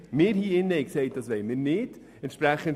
Wir im Grossen Rat haben gesagt, dass wir das nicht wollen.